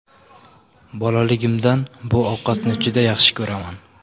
Bolaligimdan bu ovqatni juda yaxshi ko‘raman.